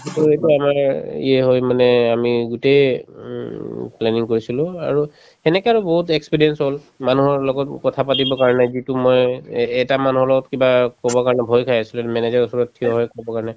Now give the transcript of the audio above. to এইটো আমাৰে ইয়ে হৈ মানে আমি গোটেই উম planning কৰিছিলো আৰু এনেকে আৰু বহুত experience হল মানুহৰ লগত কথাপাতিবৰ কাৰণে যিটো মই এ এটা মানুহৰ লগত কিবা কব কাৰণে ভয় খাই আছিলো manager ৰৰ ওচৰত থিয় হৈ কব কাৰণে